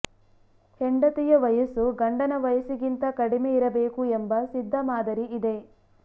ಹೆಂಡತಿಯ ವಯಸ್ಸು ಗಂಡನ ವಯಸ್ಸಿಗಿಂತ ಕಡಿಮೆ ಇರಬೇಕು ಎಂಬ ಸಿದ್ಧಮಾದರಿ ಇದೆ